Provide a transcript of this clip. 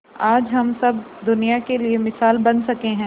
आज हम सब दुनिया के लिए मिसाल बन सके है